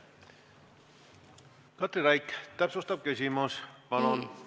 Katri Raik, täpsustav küsimus, palun!